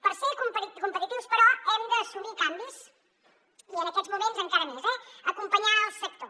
per ser competitius però hem d’assumir canvis i en aquests moments encara més eh acompanyar el sector